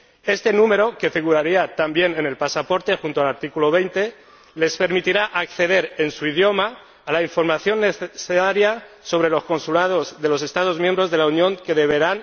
Este número, que figuraría también en el pasaporte, junto al artículo 20, les permitirá acceder en su idioma a la información necesaria sobre los consulados de los Estados miembros de la Unión, que